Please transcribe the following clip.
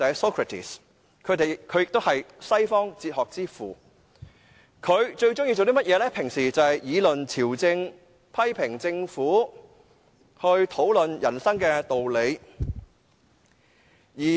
他也是西方哲學之父，平日最喜歡議論朝政、批評政府及討論人生的道理。